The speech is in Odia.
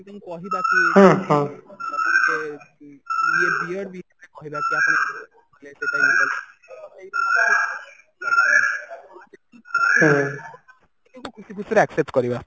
ଆମେ ତାଙ୍କୁ କହିବା କି ଯେ ଖୁସି ଖୁସି ରେ accept କରିବା